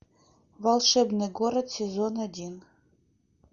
волшебный город сезон один